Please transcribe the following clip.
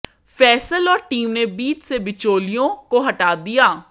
फैसल और टीम ने बीच से बिचौलियों को हटा दिया